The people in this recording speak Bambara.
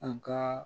An ka